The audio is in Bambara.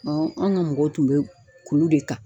Ɔn anw ka mɔgɔw tun be kulu de ka